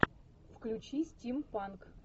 включи стим панк